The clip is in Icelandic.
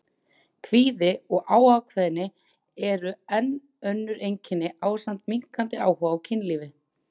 Kvíði og óákveðni eru enn önnur einkenni ásamt minnkandi áhuga á kynlífi.